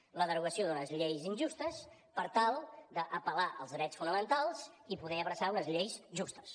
amb la derogació d’unes lleis injustes per tal d’apel·lar als drets fonamentals i poder abraçar unes lleis justes